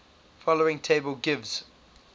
following table gives